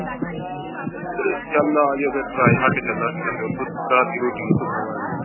ਚਲ ਆਜਿਓ ਫਿਰ ਚਲਾਂਗੇ ਨਾਲੇ ਓਥੋਂ ਰਾਤ ਦੀ ਰੋਟੀ ਓਥੋਂ ਖਾਵਾਂਗੇ।